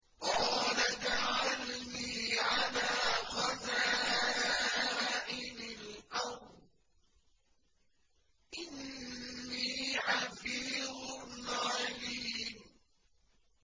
قَالَ اجْعَلْنِي عَلَىٰ خَزَائِنِ الْأَرْضِ ۖ إِنِّي حَفِيظٌ عَلِيمٌ